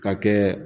Ka kɛ